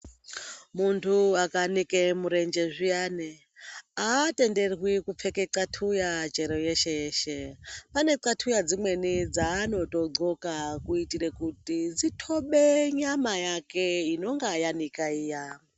Muntu akanike murenje zviyani, aatenderwi kupfeka qathuya chero yeshe-yeshe. Ane qathuya dzimweni dzaanotogqoka kuitira kuti dzithobe nyamaa yake inonga yanika iya.